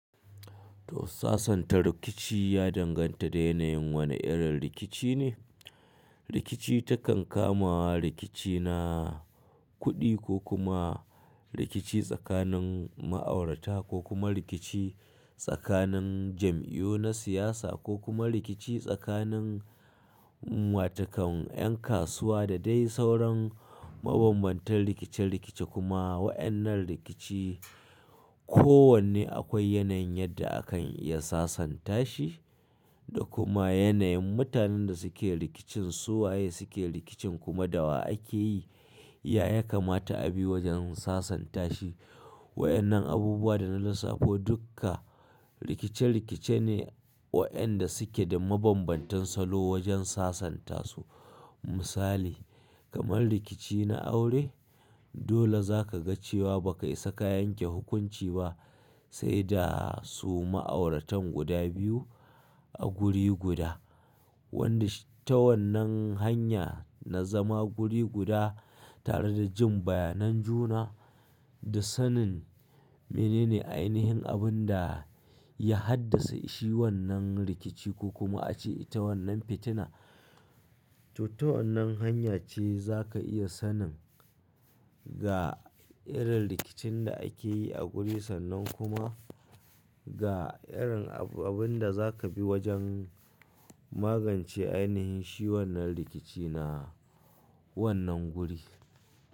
To sasanta rikici ya danganta da yanayin wane irin rikici ne. Rikici takan kama rikici na kuɗi ko kuma rikici tsakanin ma'aurata ko kuma rikici tsakanin jam'iyyu na siyasa ko kuma rikici tsakanin watakan 'yan kasuwa da dai sauran mabanbantan rikice-rikice kuma waɗannan rikici kowanne akwai yanayin yadda akan iya sasanta shi da kuma yanayin mutanen da suke rikicin su waye suke rikicin kuma da wa ake yi. Ya ya kamata a bi wajen sasanta shi. Waɗannan abubuwa da na lissafo dukka rikice-rikice ne waɗanda suke da mabambantan salo wajen sasanta su. Misali, kamar rikici na aure dole za ka ga cewa ba ka isa ka yanke hukunci ba sai da su ma'auratan guda biyu a guri guda. Wanda ta wannan hanya na zama guri guda tare da jin bayanan juna da sanin menene ainihin abin da ya haddasa shi wannan rikici ko kuma a ce ita wannan fitina. To ta wannan hanya ce za ka iya sanin ga irin rikicin da ake yi a guri sannan kuma ga irin abin da za ka bi wajen magance ainihin shi wannan rikici na wannan guri.